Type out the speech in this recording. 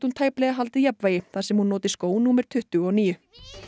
tæplega haldið jafnvægi þar sem hún noti skó númer tuttugu og níu